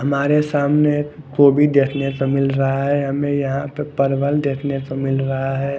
हमारे सामने एक गोबी देखने को मिल रहा है हमे यहाँ पर परवल देखने को मिल रहा है।